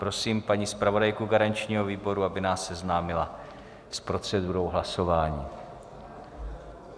Prosím paní zpravodajku garančního výboru, aby nás seznámila s procedurou hlasování.